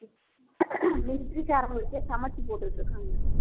military காரங்களுக்கே சமைச்சு போட்டுட்டு இருக்காங்க